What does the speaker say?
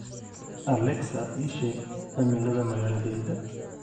alexa ii sheeg cimilada magaaladayada